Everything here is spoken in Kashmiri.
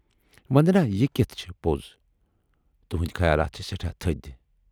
وندنا یہِ کتھ چھِ پوز تُہٕندۍ خیالات چھِ سٮ۪ٹھاہ تھٔدۍ